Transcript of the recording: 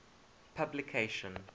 publication